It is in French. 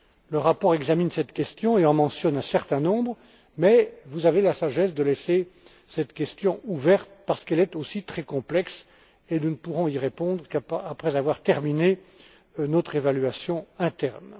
Le rapport examine cette question et en mentionne un certain nombre, mais vous avez la sagesse de laisser cette question ouverte parce qu'elle est aussi très complexe et nous ne pourrons y répondre qu'après avoir mené à bien notre évaluation interne.